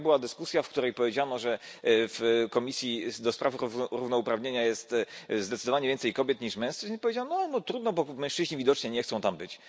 Wczoraj była dyskusja, w której powiedziano, że w Komisji Równouprawnienia jest zdecydowanie więcej kobiet niż mężczyzn i powiedziano trudno, bo mężczyźni widocznie nie chcą tam być.